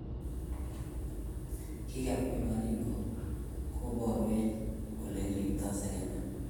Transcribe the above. Kikakipe baringo kipawech ele kirpto sekemik